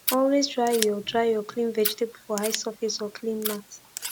always dry ur dry ur clean vegetable for high surface or clean mat